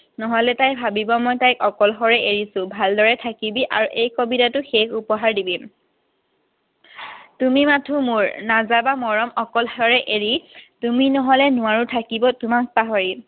নহলে তাই ভাবিব মই তাইক অকলশৰে এৰিছো। ভালদৰে থাকিবি। আৰু এই কবিতাটো শেষ উপহাৰ দিবি। তুমি মাথো মোৰ। নাযাবা মৰম অকলশৰে এৰি, তুমি নহলে নোৱাৰো থাকিব তোমাক পাহৰি।